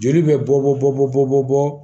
Joli bɛ bɔ bɔ